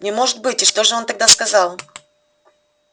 не может быть и что же он тогда сказал